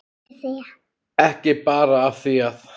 Ekki bara af því að